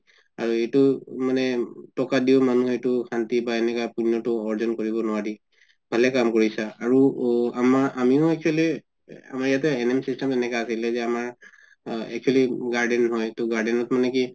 আৰু এইটো মানে মানুহে টকা দিও শান্তি পাই এনেকা পুন্যটো আৰ্জন কৰিব নোৱাৰি ভালে কাম কৰিছা আৰু আ আমিও actually আমমাৰ ইয়াতে NM system এনেকুৱা আছিলে যে আমাৰ actually garden হয় ত garden মানে কি